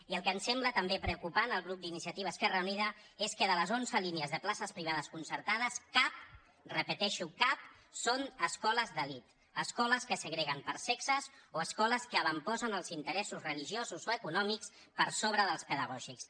i el que ens sembla també preocupant al grup d’iniciativa esquerra unida és que de les onze línies de places privades concertades cap ho repeteixo cap és d’escoles d’elit escoles que segreguen per sexes o escoles que avantposen els interessos religiosos o econòmics per sobre dels pedagògics